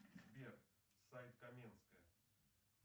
сбер сайт каменская